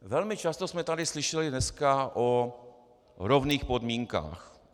Velmi často jsme tady slyšeli dneska o rovných podmínkách.